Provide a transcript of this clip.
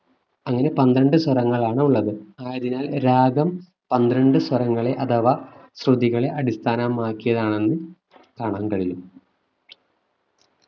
അങ്ങനെ പന്ത്രണ്ട് സ്വരങ്ങളാണ് ഉള്ളത് ആയതിനാൽ രാഗം പന്ത്രണ്ടു സ്വരങ്ങളെ അഥവാ ശ്രുതികളെ അടിസ്ഥാനമാക്കിയതാണെന്ന് കാണാൻ കഴിയും